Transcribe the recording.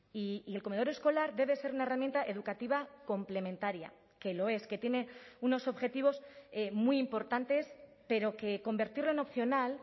y el comedor escolar debe ser una herramienta educativa complementaria que lo es que tiene unos objetivos muy importantes pero que convertirlo en opcional